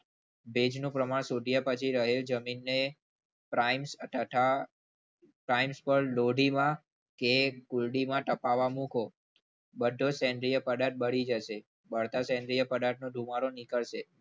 ભેજનું પ્રમાણ શોધ્યા પછી રહેલ જમીનને પ્રાઈમ્સ તથા પ્રાઇમસ પર ડોડીમલ કે ગુંડીમાં તપાવવા મૂકો બધો સેન્દ્રીય પદાર્થ બળી જશે બળતા સેન્દ્રીય પદાર્થનો ધુમાડો નીકળશે.